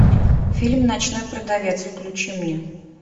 фильм ночной продавец включи мне